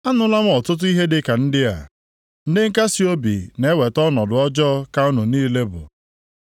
“Anụla m ọtụtụ ihe dịka ndị a; ndị nkasiobi na-eweta ọnọdụ ọjọọ ka unu niile bụ.